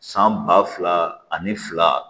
San ba fila ani fila